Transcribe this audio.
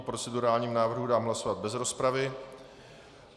O procedurálním návrhu dám hlasovat bez rozpravy.